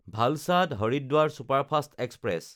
ভালচাদ–হৰিদ্বাৰ superfast express